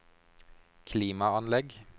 klimaanlegg